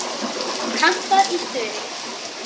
Kantar í stuði.